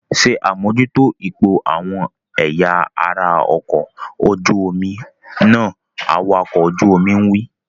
Ṣé àmójútó ipò àwọn ẹ̀yà ara ọkọ̀ ojú omi náà! Awakọ̀ ọkọ̀ ojú omi wí.